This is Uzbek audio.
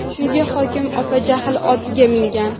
Shunga hokim opa jahl otiga mingan.